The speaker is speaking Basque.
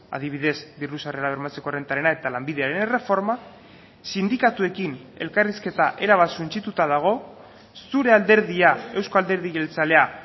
adibidez diru sarrera bermatzeko errentarena eta lanbidearen erreforma sindikatuekin elkarrizketa erabat suntsituta dago zure alderdia eusko alderdi jeltzalea